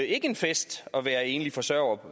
ikke en fest at være enlig forsørger